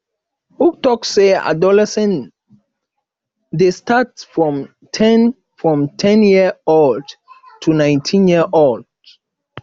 who talk say adolescence de start from ten from ten year old to 19 year old